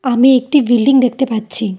আমি একটি বিল্ডিং দেখতে পাচ্ছি।